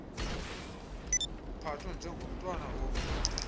uphathwe njengomntwana ombi